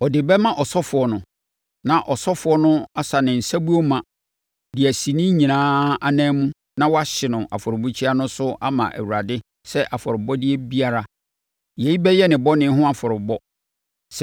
Ɔde bɛma ɔsɔfoɔ no. Na ɔsɔfoɔ no asa ne nsabuo ma de asi ne nyinaa anan na wahye no afɔrebukyia no so ama Awurade sɛ afɔrebɔdeɛ biara. Yei bɛyɛ ne bɔne ho afɔrebɔ.